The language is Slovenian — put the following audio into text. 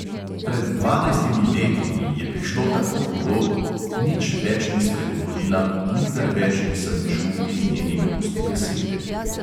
Pred dvanajstimi leti ji je prišlo tako hudo – nič več ni spregovorila, nikdar več nisem čul iz njenih ust besede.